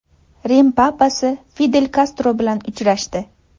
Rim papasi Fidel Kastro bilan uchrashdi.